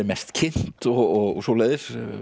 mest kynnt og svoleiðis